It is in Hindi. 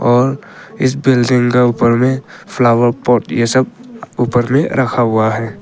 और इस बिल्डिंग के ऊपर में फ्लावर पॉट यह सब ऊपर में रखा हुआ है।